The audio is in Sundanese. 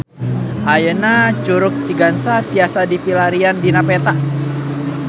Ayeuna Curug Cigangsa tiasa dipilarian dina peta